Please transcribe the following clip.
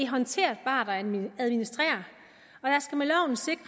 håndterbart at administrere